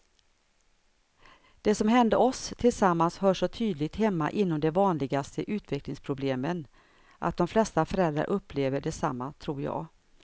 Det som hände oss tillsammans hör så tydligt hemma inom de vanligaste utvecklingsproblemen, att de flesta föräldrar upplever detsamma tror jag.